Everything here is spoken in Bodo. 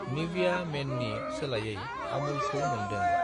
निविया मेननि सोलायै आमुलखौ मोन्दों।